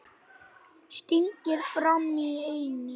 Stingir fram í ennið.